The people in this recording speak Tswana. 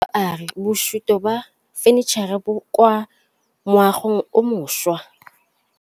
Mogokgo wa sekolo a re bosutô ba fanitšhara bo kwa moagong o mošwa.